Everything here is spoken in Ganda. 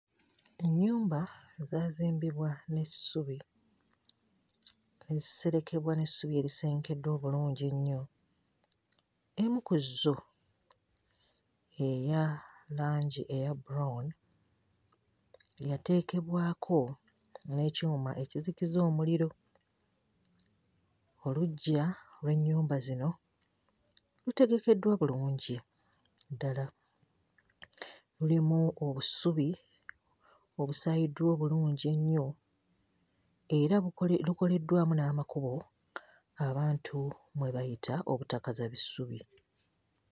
Ennyumba ezaazimbibwa n'essubi, ne ziserekebwa n'essubi erisengekeddwa obulungi ennyo. Emu ku zo eya langi eya brown yateekebwako n'ekyuma ekizikiza omuliro. Oluggya lw'ennyunba zino lutegekeddwa bulungi ddala, lulimu obusubi obusaayiddwa obulungi ennyo era luko lukoleddwamu n'amakubo abantu mwe bayita obutakaza bisubi